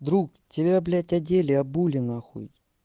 друг тебя блять одели обули нахуй